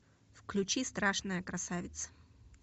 включи страшная красавица